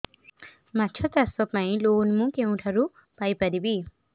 ମାଛ ଚାଷ ପାଇଁ ଲୋନ୍ ମୁଁ କେଉଁଠାରୁ ପାଇପାରିବି